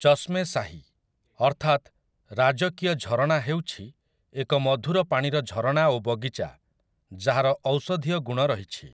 ଚଷ୍ମେ ଶାହି, ଅର୍ଥାତ୍ 'ରାଜକୀୟ ଝରଣା', ହେଉଛି ଏକ ମଧୁର ପାଣିର ଝରଣା ଓ ବଗିଚା, ଯାହାର ଔଷଧୀୟ ଗୁଣ ରହିଛି ।